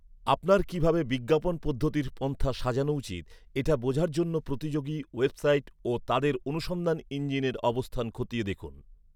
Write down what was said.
আপনার কী ভাবে বিজ্ঞাপন পদ্ধতির পন্থা সাজানো উচিত, এটা বোঝার জন্য প্রতিযোগী ওয়েবসাইট ও তাদের অনুসন্ধান ইঞ্জিনের অবস্থান খতিয়ে দেখুন।